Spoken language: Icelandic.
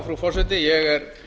frú forseti ég er